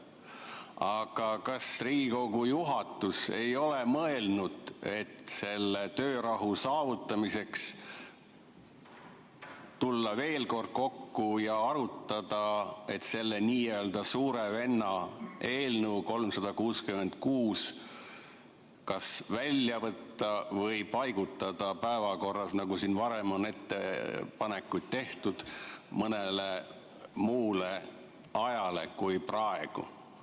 Aga kas Riigikogu juhatus ei ole mõelnud, et töörahu saavutamise nimel võiks tulla veel kord kokku ja arutada, et see n‑ö suure venna eelnõu 366 kas välja võtta või paigutada päevakorras, nagu siin varem on ettepanekuid tehtud, mõnele muule ajale kui praegu?